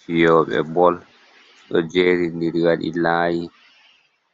Fiyoɓe bol do jerindiri wadi layi